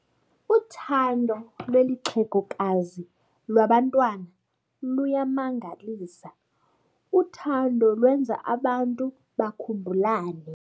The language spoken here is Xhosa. Uthando lweli xhegokazi lwabantwana luyamangalisa. uthando lwenza abantu bakhumbulane